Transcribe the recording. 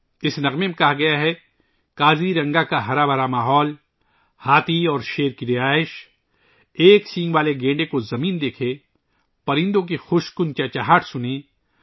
اس گانے میں کہا گیا ہے کہ کازی رنگا کا سرسبز و شاداب ماحول، ہاتھیوں اور شیروں کا ٹھکانہ، ایک سینگ والے گینڈے کو زمین دیکھے ، پرندوں کی مدھر چہچہاہٹ سنے